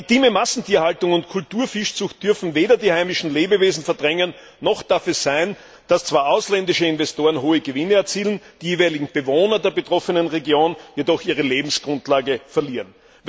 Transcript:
Maritime Massentierhaltung und Kulturfischzucht dürfen weder die heimischen Lebewesen verdrängen, noch darf es sein, dass zwar ausländische Investoren hohe Gewinne erzielen, die jeweiligen Bewohner der betroffenen Region jedoch ihre Lebensgrundlage verlieren.